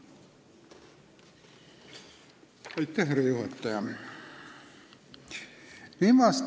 Lugupeetud härra juhataja!